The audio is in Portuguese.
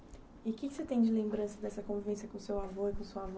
E o que você tem de lembrança dessa convivência com seu avô e com sua avó?